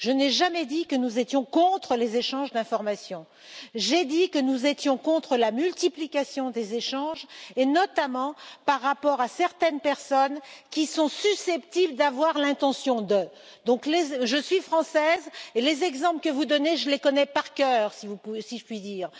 Je n'ai jamais dit que nous étions contre les échanges d'informations, j'ai dit que nous étions contre la multiplication des échanges, et notamment par rapport à des personnes qui seraient seulement susceptibles d'avoir une intention. Je suis française, et les exemples que vous donnez, je les connais par cœur, si je puis dire.